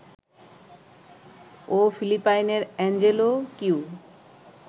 ও ফিলিপাইনের Angelo Q